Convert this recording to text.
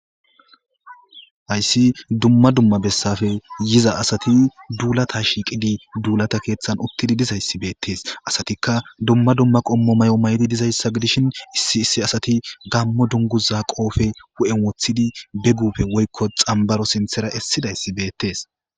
hayssi dumma dumma bessafe yiza asati duulata shiiqidi duulata keeththan uttidi dizayssi beettees asatikka dumma dumma qommo may7o maydi dizayssa gidishin issi issi asati gammo dunguza qoofe wu7en woththidi begufe woykko xambaro sinthera essidayssi beettes